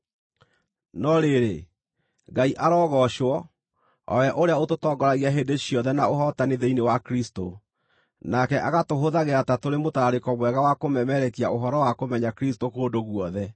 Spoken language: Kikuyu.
No rĩrĩ, Ngai arogoocwo, o we ũrĩa ũtũtongoragia hĩndĩ ciothe na ũhootani thĩinĩ wa Kristũ, nake agatũhũthagĩra ta tũrĩ mũtararĩko mwega wa kũmemerekia ũhoro wa kũmenya Kristũ kũndũ guothe.